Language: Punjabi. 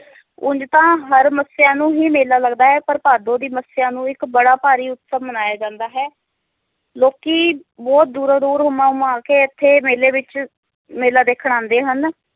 ਉਂਝ ਤਾਂ ਹਰ ਮੱਸਿਆ ਨੂੰ ਹੀ ਮੇਲਾ ਲੱਗਦਾ ਹੈ ਪਰ ਭਾਦੋ ਦੀ ਮੱਸਿਆ ਨੂੰ ਇੱਕ ਬੜਾ ਭਾਰੀ ਉਤਸਵ ਮਨਾਇਆ ਜਾਂਦਾ ਹੈ ਲੋਕੀ ਬਹੁਤ ਦੂਰੋਂ ਦੂਰ ਹੁਮਾਂ ਹੁਮ ਆ ਕੇ ਇਥੇ ਮੇਲੇ ਵਿਚ ਮੇਲਾ ਦੇਖਣ ਆਂਦੇ ਹਨ